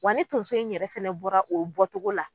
Wa ni tonso in yɛrɛ fɛnɛ bɔra o bɔ togo la.